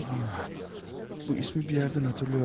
Bu ismi bir yerdən xatırlayıram.